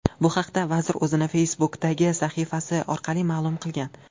Bu haqda vazir o‘zining Facebook’dagi sahifasi orqali ma’lum qilgan .